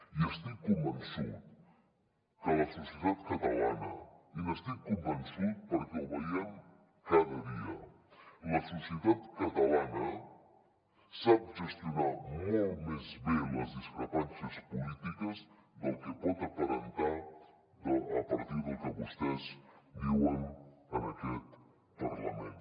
i estic convençut que la societat catalana i n’estic convençut perquè ho veiem cada dia sap gestionar molt més bé les discrepàncies polítiques del que pot aparentar a partir del que vostès diuen en aquest parlament